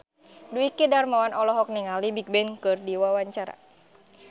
Dwiki Darmawan olohok ningali Bigbang keur diwawancara